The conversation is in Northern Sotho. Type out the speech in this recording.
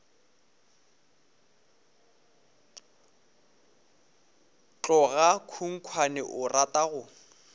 tloga khunkhwane o rata go